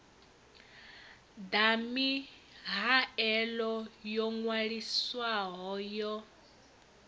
ḓa mihaelo yo ṅwaliswaho ya